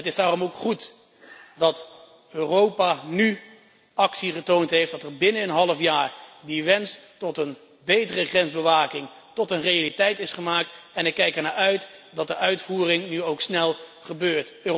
Het is daarom ook goed dat Europa nu actie getoond heeft, dat er binnen een half jaar die wens van een betere grensbewaking tot een realiteit is gemaakt en ik kijk ernaar uit dat de uitvoering nu ook snel gebeurt.